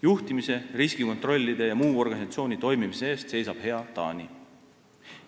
Juhtimise, riskikontrollide ja muu organisatsiooni toimimise eest seisab hea Taani.